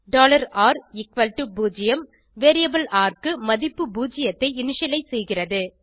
r0 variable ர் க்கு மதிப்பு பூஜ்ஜியத்தை இனிஷியலைஸ் செய்கிறது